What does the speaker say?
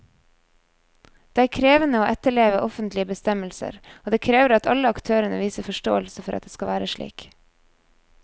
Det er krevende å etterleve offentlige bestemmelser, og det krever at alle aktørene viser forståelse for at det skal være slik.